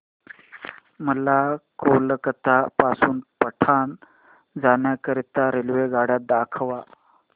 मला कोलकता पासून पटणा जाण्या करीता रेल्वेगाड्या दाखवा